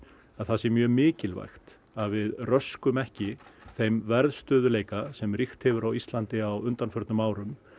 að það sé mjög mikilvægt að við röskum ekki þeim verðstöðugleika sem ríkt hefur á Íslandi á undanförnum árum